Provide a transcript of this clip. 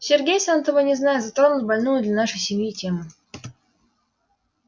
сергей сам того не зная затронул больную для нашей семьи тему